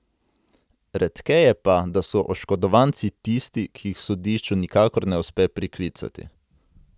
Redkeje pa, da so oškodovanci tisti, ki jih sodišču nikakor ne uspe priklicati.